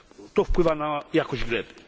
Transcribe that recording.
To wpływa na jakość gleby.